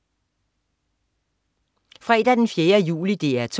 Fredag den 4. juli - DR 2: